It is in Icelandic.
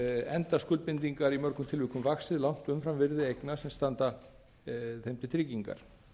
enda skuldbindingar í mörgum tilvikum vaxið langt umfram virði eigna sem standa þeim til tryggingar